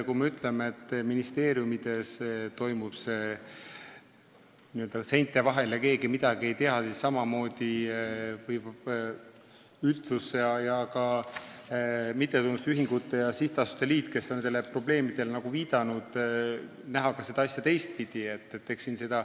Kui me ütleme, et ministeeriumides toimub see n-ö seinte vahel ja keegi midagi ei tea, siis samamoodi võib üldsus ning mittetulundusühingute ja sihtasutuste liit, kes on sellele probleemile viidanud, näha seda asja teistpidi.